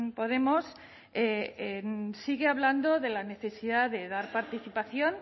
podemos sigue hablando de la necesidad de dar participación